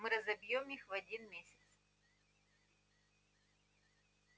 мы разобьём их в один месяц